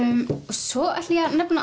svo ætla ég að nefna